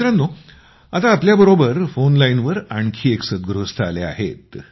मित्रांनो आता आमच्याबरोबर फोन लाईनवर आणखी एक सद्गृस्थ आले आहेत